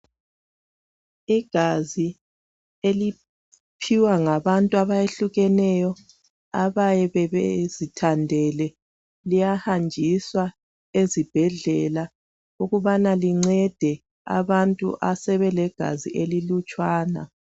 Igazi eliphiwa ngabantu abayehlukeneyo abayabe bezithandele liyahanjiswa ezibhedlela ukubana lincede abantu asebelegazi elilutshwana.